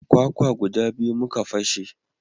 Kwakwa guda biyu muka fashe